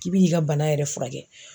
K'i bi n'i ka bana yɛrɛ furakɛ.